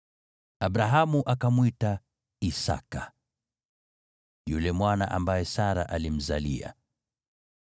Abrahamu akamwita Isaki yule mwana ambaye Sara alimzalia.